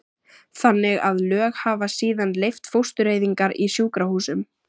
þannig að lög hafa síðan leyft fóstureyðingar í sjúkrahúsum.